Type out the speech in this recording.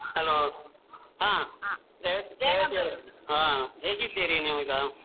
Hello ಹಾ ಹಾ ಹೇಗಿದ್ದೀರಿ ನೀವು ಈಗ ಹ?